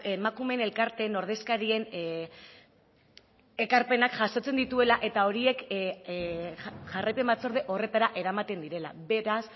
emakumeen elkarteen ordezkarien ekarpenak jasotzen dituela eta horiek jarraipen batzorde horretara eramaten direla beraz